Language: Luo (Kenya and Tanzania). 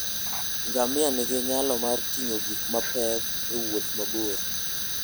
Ngamia nigi nyalo mar ting'o gik mapek e wuoth mabor.